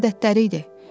Adətləri idi.